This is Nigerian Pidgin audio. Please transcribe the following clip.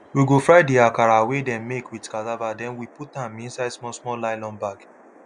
we go fry the akara wey dem make with cassava then we put am inside small small nylon bag